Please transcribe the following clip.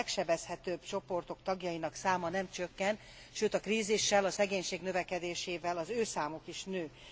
A legsebezhetőbb csoportok tagjainak száma nem csökken, sőt a krízissel, a szegénység növekedésével az ő számuk is nő.